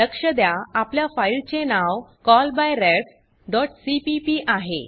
लक्ष द्या आपल्या फाइल चे नाव callbyrefसीपीपी आहे